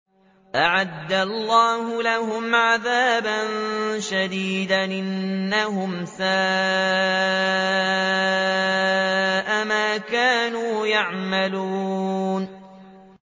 أَعَدَّ اللَّهُ لَهُمْ عَذَابًا شَدِيدًا ۖ إِنَّهُمْ سَاءَ مَا كَانُوا يَعْمَلُونَ